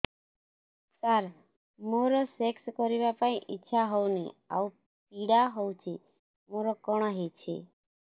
ସାର ମୋର ସେକ୍ସ କରିବା ପାଇଁ ଇଚ୍ଛା ହଉନି ଆଉ ପୀଡା ହଉଚି ମୋର କଣ ହେଇଛି